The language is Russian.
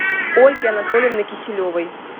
ольги анатольевны киселевой